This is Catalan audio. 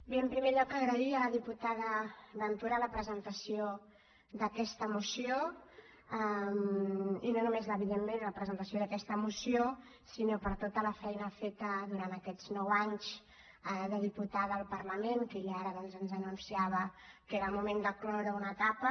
bé en primer lloc agrair a la diputada ventura la presentació d’aquesta moció i no només evidentment la presentació d’aquesta moció sinó tota la feina feta durant aquests nou anys de diputada al parlament que ella ara doncs ens anunciava que era el moment de cloure una etapa